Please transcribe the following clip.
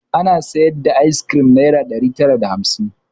Ana sayar da fanice ayis kirim nayra ɗari tara da hamsin